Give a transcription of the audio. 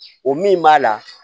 O min b'a la